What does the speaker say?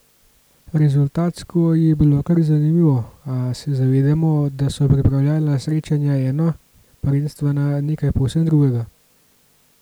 Rezultatsko je bilo kar zanimivo, a se zavedamo, da so pripravljalna srečanja eno, prvenstvena nekaj povsem drugega.